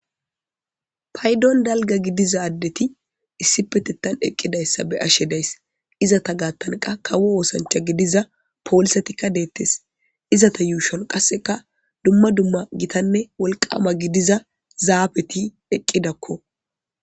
paydon dalga gidiza addeti issipetettan eqqidayssa be'ashe days izata gaattanqa kawo oosancha gidiza poolisatikka deettes izata yuushon qasseka dumma dumma gitanne wolqama gidiza zaabeti eqqidakko